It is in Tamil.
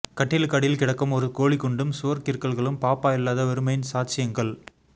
கட்டிலுக்கடியில் கிடக்கும் ஒரு கோலிக்குண்டும் சுவர்க் கிறுக்கல்களும் பாப்பா இல்லாத வெறுமையின் சாட்சியங்கள்